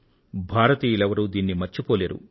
భారతీయులెవరూ దీనిని మరిచిపోలేరు